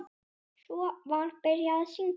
Svo var byrjað að syngja.